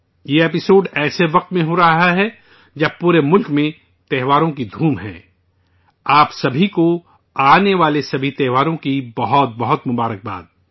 یہ episode ایسے وقت میں ہو رہا ہے جب پورے ملک میں تہواروں کی امنگ ہے، آپ سبھی کو آنے والے سبھی تہواروں کی بہت بہت مبارکباد